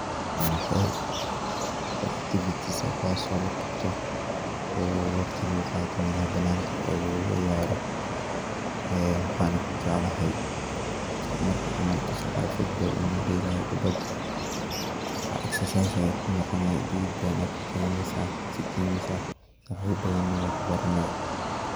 Wa hool oo tikit baas lagatoh oo waqdi lagu Qatoh banaka lagu ceeyaroh ee waxan u jeeclathay marki cml so Qatoh banoon lagu deelayo kubathan exercise setha kunoqooni detheet bathan Aya kaheleysah iska geeneysah Qeebrat bathan wa kubarani.